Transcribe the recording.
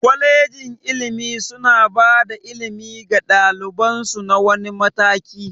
Kwalegin ilimi suna bada ilimi ga ɗaliban su na wani mataki